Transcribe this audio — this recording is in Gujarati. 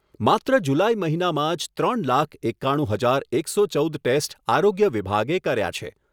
માત્ર જુલાઈ મહિનામાં જ ત્રણ લાખ એકાણું હજાર એકસો ચૌદ ટેસ્ટ આરોગ્ય વિભાગે કર્યા છે.